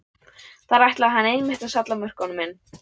Þar ætlaði hann einmitt að salla mörkunum inn!